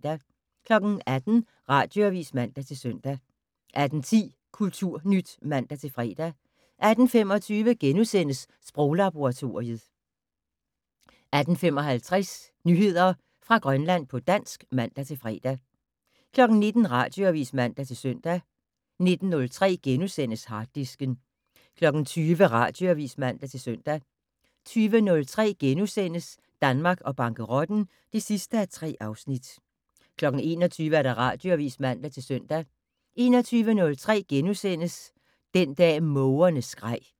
18:00: Radioavis (man-søn) 18:10: Kulturnyt (man-fre) 18:25: Sproglaboratoriet * 18:55: Nyheder fra Grønland på dansk (man-fre) 19:00: Radioavis (man-søn) 19:03: Harddisken * 20:00: Radioavis (man-søn) 20:03: Danmark og bankerotten (3:3)* 21:00: Radioavis (man-søn) 21:03: Den dag mågerne skreg *